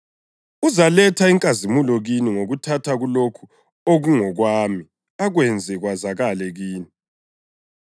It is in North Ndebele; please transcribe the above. Uzaletha inkazimulo kini ngokuthatha kulokho okungokwami akwenze kwazakale kini.